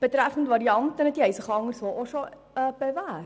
Die Varianten haben sich anderswo auch schon bewährt.